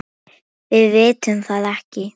Við vitum það ekki.